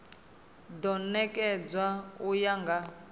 do nekedzwa u ya nga